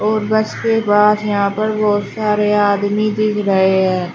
और बस के बाद यहाँ पर बहुत सारे आदमी दिख रहे हैं।